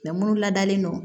munnu ladalen don